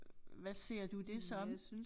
Hvad ser du det som?